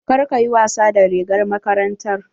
Kar ka yi wasa da rigar makarantar.